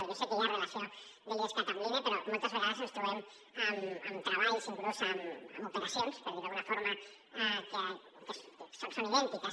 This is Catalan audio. jo sé que hi ha a relació de l’idescat amb l’ine però moltes vegades ens trobem amb treballs inclús amb operacions per dir ho d’alguna forma que són idèntiques